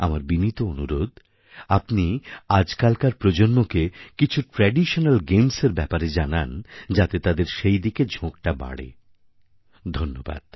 আমার বিনীত অনুরোধ আপনি আজকালকার প্রজন্মকে কিছু ট্র্যাডিশনাল গেমসএর ব্যাপারে জানান যাতে তাদের সেইদিকে ঝোঁকটা বাড়ে ধন্যবাদ